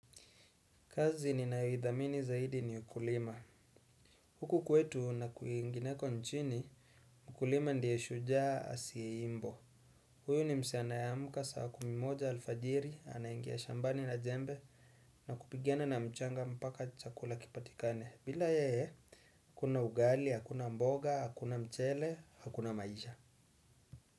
Kazi ninayoidhamini zaidi ni ukulima. Huku kwetu na kuingineko nchini, ukulima ndio shujaa asiyeimbwa. Huyu ni msee anayeamuka, saa kumi moja alfajiri, anaingia shambani na jembe, na kupigana na mchanga mpaka chakula kipatikane. Bila yeye, akuna ugali, hakuna mboga, hakuna mchele, hakuna maisha.